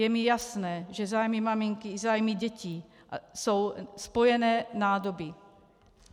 Je mi jasné, že zájmy maminky i zájmy dětí jsou spojené nádoby.